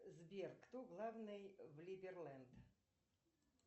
сбер кто главный в либерленд